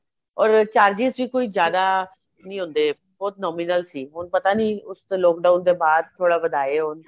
or charges ਵੀ ਕੋਈ ਜਿਆਦਾ ਨੀਂ ਹੁੰਦੇ ਬਹੁਤ nominal ਸੀ ਹੁਣ ਪਤਾ ਨੀਂ ਉਸ ਤੇ lock down ਦੇ ਬਾਅਦ ਥੋੜਾ ਵਧਾਏ ਹੋਣ